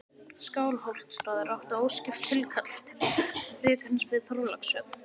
Skálholtsstaður átti óskipt tilkall til rekans við Þorlákshöfn.